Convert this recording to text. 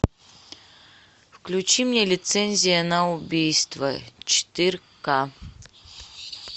включи мне лицензия на убийство четыре ка